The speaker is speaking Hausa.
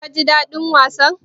Ka ji daɗin wasan?